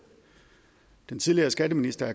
den tidligere skatteminister